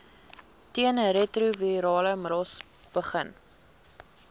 teenretrovirale middels begin